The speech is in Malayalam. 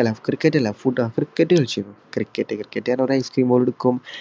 അല്ല footcricket കളിച്ചിരുന്നു. cricket എന്ന് പറഞ്ഞാൽ ice cream ball എടുക്കും.